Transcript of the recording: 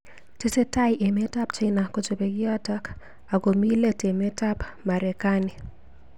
Tesetai emet ab China kochobei kiotok ak komi let emet ab Marekani.